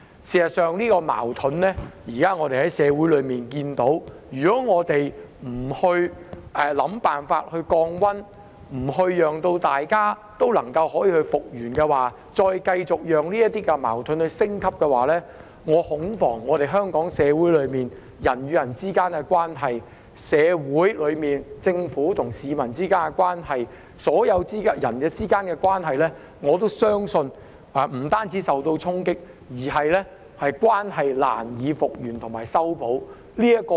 事實上，如果我們不想辦法令社會上這個矛盾降溫，讓大家復原，而是再繼續讓矛盾升級，恐怕在香港社會內人與人之間的關係、政府與市民之間的關係及所有人之間的關係，不單也會受衝擊，關係甚至難以復原和修補。